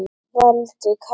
Valdi kaldi.